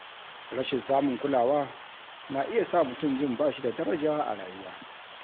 Rashin samun kulawa na iya sa mutum jin ba shi da daraja a rayuwa.